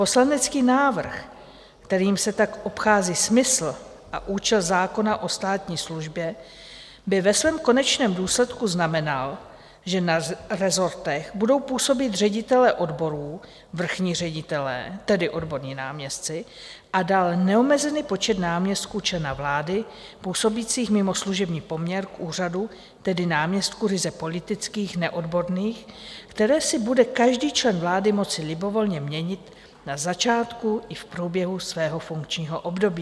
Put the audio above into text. Poslanecký návrh, kterým se tak obchází smysl a účast zákona o státní službě, by ve svém konečném důsledku znamenal, že na rezortech budou působit ředitelé odborů, vrchní ředitelé, tedy odborní náměstci, a dál neomezený počet náměstků člena vlády, působících mimo služební poměr k úřadu, tedy náměstků ryze politických, neodborných, které si bude každý člen vlády moci libovolně měnit na začátku i v průběhu svého funkčního období.